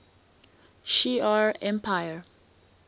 shi ar empire